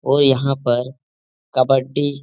और यहाँ पर कबड्डी --